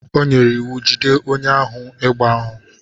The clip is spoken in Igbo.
O nyere iwu, jide onye ohi egbe ahụ.